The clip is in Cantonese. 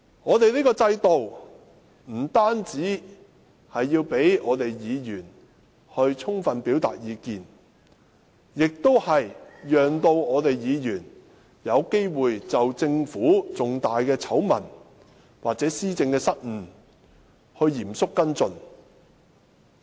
我們這個制度不單要讓議員充分表達意見，亦須讓議員有機會就政府的重大醜聞或施政失誤嚴肅跟進。